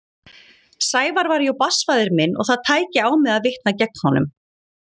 Sævar væri jú barnsfaðir minn og það tæki á mig að vitna gegn honum.